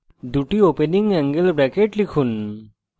দুটি opening angle brackets লিখুন